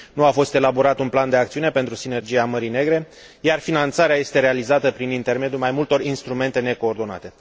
Nu a fost elaborat un plan de acțiune pentru Sinergia Mării Negre, iar finanțarea este realizată prin intermediul mai multor instrumente necoordonate.